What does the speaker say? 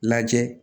Lajɛ